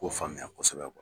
U k'o faamuya kosɛbɛ